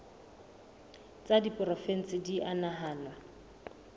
tsa diporofensi di a nahanwa